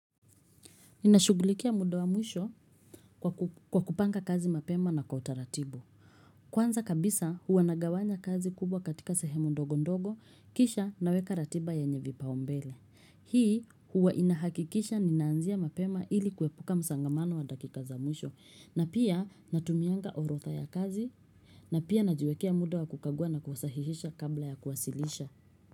Ninashughulikia mudo wa mwisho kwa kupanga kazi mapema na kwa utaratibu. Kwanza kabisa huwa nagawanya kazi kubwa katika sehemu ndogo ndogo kisha naweka ratiba yenye vipaumbele. Hii huwa inahakikisha ninanzia mapema ili kuepuka msongamano wa dakika za mwisho na pia natumianga orotha ya kazi na pia najiwekea muda wa kukagua na kusahihisha kabla ya kuwasilisha.